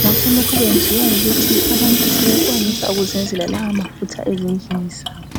ngakho lokhu kwenziwa yikuthi abantu sebekwanisa ukuzenzela lawa mafutha ezindlini zabo